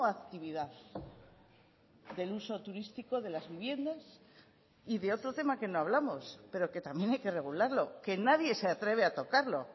actividad del uso turístico de las viviendas y de otro tema que no hablamos pero que también hay que regularlo que nadie se atreve a tocarlo